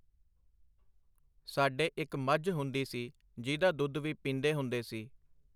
ਸਾਡੇ ਇੱਕ ਮੱਝ ਹੁੰਦੀ ਸੀ ਜੀਹਦਾ ਦੁੱਧ ਵੀ ਪੀਂਦੇ ਹੁੰਦੇ ਸੀ.